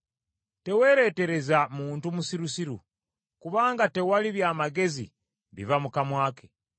Teweeretereza muntu musirusiru, kubanga tewali by’amagezi biva mu kamwa ke.